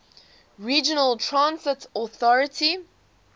regional transit authority